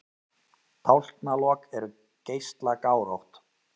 Tálknalok eru geislagárótt.